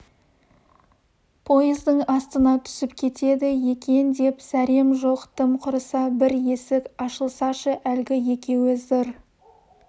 пойыздың астына түсіп кетеді екен деп зәрем жоқ тым құрыса бір есік ашылсашы әлгі екеуі зыр